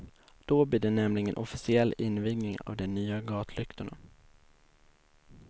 Då blir det nämligen officiell invigning av de nya gatlyktorna.